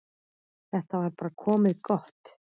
Þetta var bara komið gott.